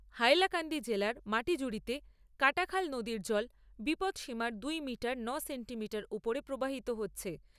হাইলাকান্দি জেলার মাটিজুড়িতে কাটাখাল নদীর জল বিপদসীমার দু'মিটার ন'সেন্টিমিটার উপরে প্রবাহিত হচ্ছে।